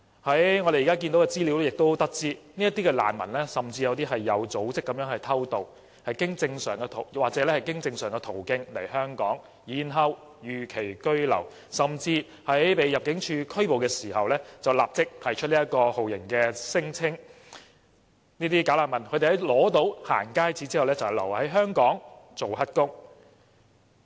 從現時的資料得知，甚至有部分"假難民"是有組織地偷渡，又或經正常途徑來港然後逾期居留，甚至在被入境事務處拘捕時，便立即提出酷刑聲請，在取得"行街紙"後便留在香港做"黑工"。